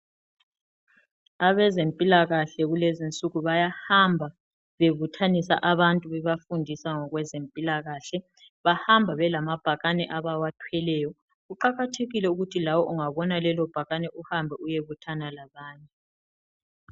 Abezempilakahle kulezinsuku bayahamba bebuthanisa abantu, bebafundisa ngokwezempilakahle. Bahamba belamabhakane abawathweleyo, kuqakathekile ukuthi lawe ungabona lelo bhakane uhambe uyebuthana labanye.